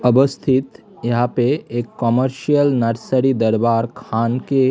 अवस्थित यहां पे एक कमर्शियल नर्सरी दरबार खान के ।